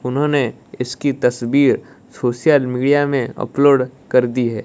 उन्होंने इसकी तस्वीर सोशल मीडिया में अपलोड कर दी है।